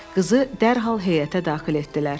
Qızı dərhal heyətə daxil etdilər.